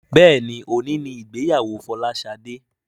Béèni òní ní ìgbéyàwó Folashade.